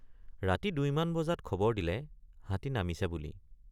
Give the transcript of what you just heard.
ৰাতি দুইমান বজাত খবৰ দিলে হাতী নামিছে বুলি।